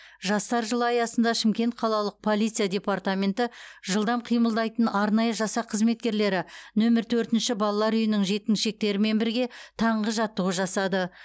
жастар жылы аясында шымкент қалалық полиция департаменті жылдам қимылдайтын арнайы жасақ қызметкерлері нөмір төртінші балалар үйінің жеткіншектерімен бірге таңғы жаттығу жасады